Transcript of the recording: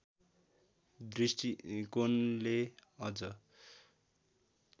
दृष्टिकोणले अझ